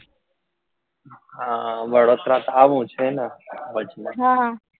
હા વડોદરા આવું છે ને વચમાં